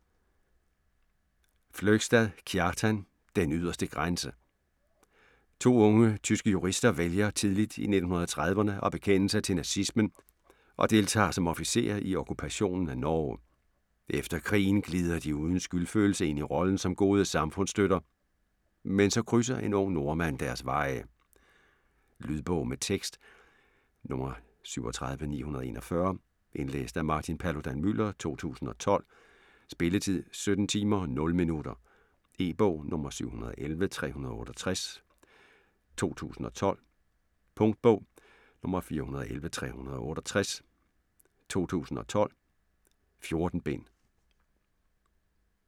Fløgstad, Kjartan: Den yderste grænse To unge tyske jurister vælger tidligt i 1930'erne at bekende sig til nazismen og deltager som officerer i okkupationen af Norge. Efter krigen glider de uden skyldfølelse ind i rollen som gode samfundsstøtter, men så krydser en ung nordmand deres veje. Lydbog med tekst 37941 Indlæst af Martin Paludan-Müller, 2012. Spilletid: 17 timer, 0 minutter. E-bog 711368 2012. Punktbog 411368 2012. 14 bind.